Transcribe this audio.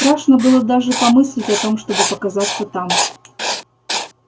страшно было даже помыслить о том чтобы показаться там